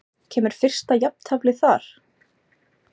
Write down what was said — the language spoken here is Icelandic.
Kemur fyrsta jafnteflið þar?